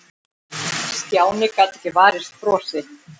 Stjáni gat ekki varist brosi.